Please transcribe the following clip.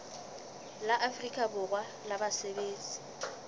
la afrika borwa la basebetsi